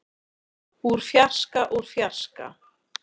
úr fjarska úr fjarska.